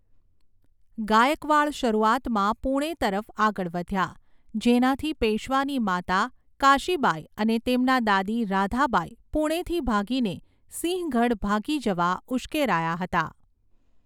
ગાયકવાડ શરૂઆતમાં પૂણે તરફ આગળ વધ્યા, જેનાથી પેશ્વાની માતા કાશીબાઈ અને તેમના દાદી રાધાબાઈ પૂણેથી ભાગીને સિંહગઢ ભાગી જવા ઉશ્કેરાયા હતા.